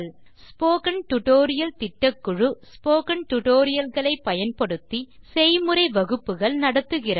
spoken tutorial திட்டக்குழு spoken tutorial களை பயன்படுத்தி செய்முறை வகுப்புகள் நடத்துகிறது